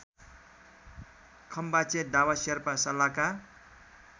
खम्बाचे Dawa Sherpa सलाका